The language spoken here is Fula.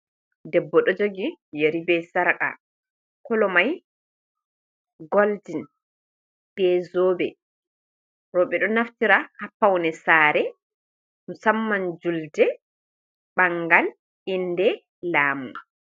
Debbo ɗo jogi yeri be sarka kolo mai golden be zobe. Roɓe ɗo naftira ha paune sare musamman julde, ɓangal, inde, lamu.